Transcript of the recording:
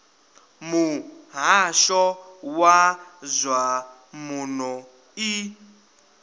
muhasho wa zwa muno i